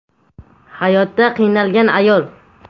hayotda qiynalgan ayol.